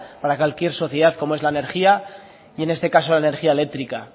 para cualquier sociedad como es la energía y en este caso la energía eléctrica